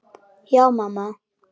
Já, mamma.